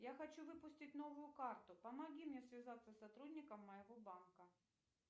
я хочу выпустить новую карту помоги мне связаться с сотрудником моего банка